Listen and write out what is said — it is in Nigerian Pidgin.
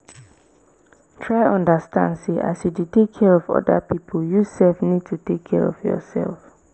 try understand sey as you dey take care of oda pipo you sef need to take care of yourself